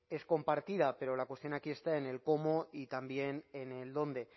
es compartida pero la cuestión aquí está en el cómo y también en el dónde